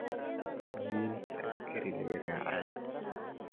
Hawenki askari lagaracaye .